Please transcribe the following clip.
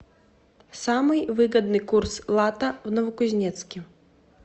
самый выгодный курс лата в новокузнецке